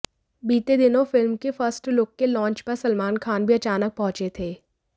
बीते दिनों फिल्म के फर्स्ट लुक के लॉन्च पर सलमान खान भी अचानक पहुंचे थे